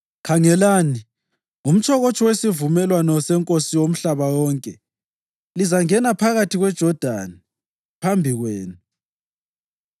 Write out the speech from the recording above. Khangelani, umtshokotsho wesivumelwano seNkosi womhlaba wonke lizangena phakathi kweJodani phambi kwenu.